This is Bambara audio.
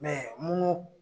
Mɛ munnu